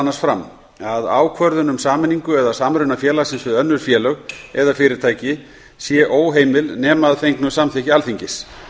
annars fram að ákvörðun um sameiningu eða samruna félagsins við önnur félög eða fyrirtæki sé óheimil nema að fengnu samþykki alþingis